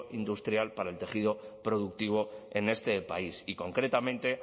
industrial para el tejido productivo en este país y concretamente